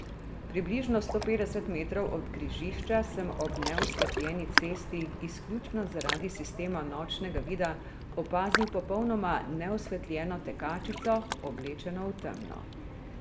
Približno sto petdeset metrov od križišča sem ob neosvetljeni cesti izključno zaradi sistema nočnega vida opazil popolnoma neosvetljeno tekačico, oblečeno v temno.